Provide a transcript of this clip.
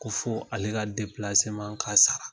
Ko fɔ ale ka ka sara.